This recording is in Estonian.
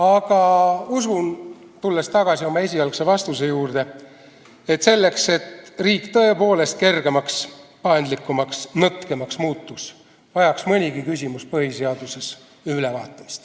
Aga usun, tulles tagasi oma esialgse vastuse juurde, et selleks, et riik tõepoolest kergemaks, paindlikumaks, nõtkemaks muutuks, vajaks mõnigi küsimus põhiseaduses ülevaatamist.